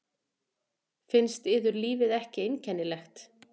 Finnst yður lífið ekki einkennilegt?